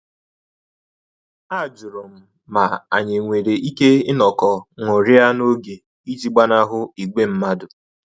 A jụrụ m ma anyị e nwere ike inọkọ ṅụrịa n'oge iji gbanahụ ìgwè mmadụ